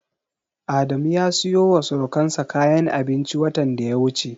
Adamu ya siyowa surukansa kayan abinci watan da ya wuce.